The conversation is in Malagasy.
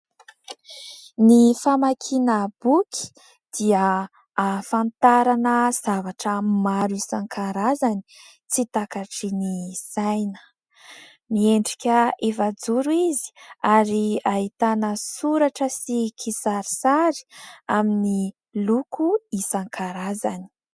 Ny famakiana boky dia ahafantarana zavatra maro isan-karazany tsy takatry ny saina. Miendrika efa-joro izy ary ahitana soratra sy kisarisary amin'ny loko isan-karazany.